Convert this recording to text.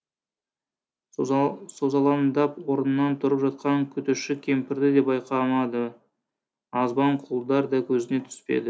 созалаңдап орнынан тұрып жатқан күтуші кемпірді де байқамады азбан құлдар да көзіне түспеді